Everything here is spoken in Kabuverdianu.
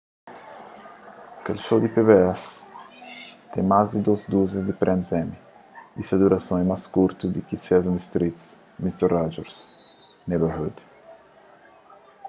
kel show di pbs ten más di dôs duzia di prémius emmy y se durason é más kurtu di ki sesame street y mister rogers' neighborhood